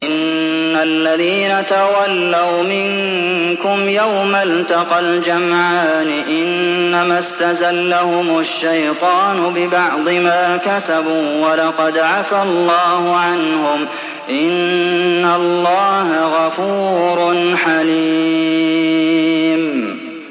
إِنَّ الَّذِينَ تَوَلَّوْا مِنكُمْ يَوْمَ الْتَقَى الْجَمْعَانِ إِنَّمَا اسْتَزَلَّهُمُ الشَّيْطَانُ بِبَعْضِ مَا كَسَبُوا ۖ وَلَقَدْ عَفَا اللَّهُ عَنْهُمْ ۗ إِنَّ اللَّهَ غَفُورٌ حَلِيمٌ